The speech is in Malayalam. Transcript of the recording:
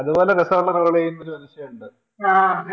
ഇതുപോലെ രസമുള്ളരോളെയും ഒരു സംശയമുണ്ട് ആഹ്